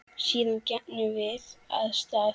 Síðan gengum við af stað.